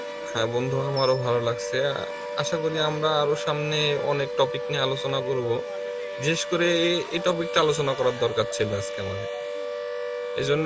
হ্যাঁ বন্ধু আমারও ভালো লাগসে আশা করি আমরা আরও সামনে অনেক topic নিয়ে আলোচনা করব বিশেষ করে এ topic টা আলোচনা করা দরকার ছিল আমাদের. এজন্যে